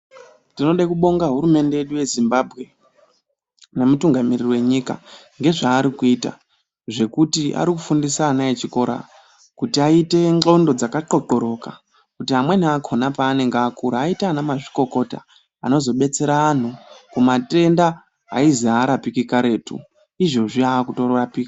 Tinode kubonga hurumende yedu yeZimbabwe nemutungamiriri wenyika ngezvarikuita zvekuti arikufundise ana echikora kuti aite ndxondo dzakathothoroka kuti amweni akhona panenge akura aite anamazvikokota anozobetsea anhu kumatenda aizi arapiki karetu izvozvi akurapika.